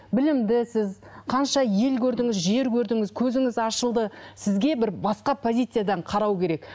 білімдісіз қанша ел көрдіңіз жер көрдіңіз көзіңіз ашылды сізге бір басқа позициядан қарау керек